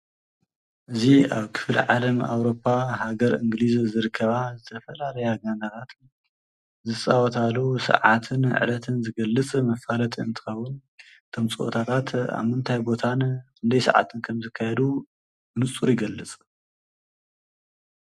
እዚ ኣብ ክፍሊዓለም ኣውሮፓ ሃገር እንግሊዝ ዝርከባ ዝተፈላለያ ጋንታታት ዝፃወታሉ ሰዓትን ዕለትን ዝገልፅ መፋለጢ እንትኸውን እቶም ፀዋታታት ኣብ ምንታይ ቦታን ክንደይ ሰዓትን ከም ዝካየደሉ ብንፁሪ ይገልፅ።